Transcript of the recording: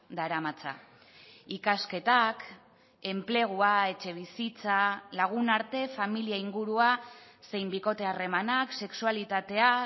daramatza ikasketak enplegua etxebizitza lagunarte familia ingurua zein bikote harremanak sexualitatea